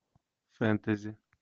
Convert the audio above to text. фэнтези